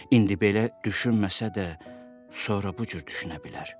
İndi belə düşünməsə də, sonra bu cür düşünə bilər.